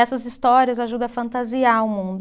Essas histórias ajudam a fantasiar o mundo.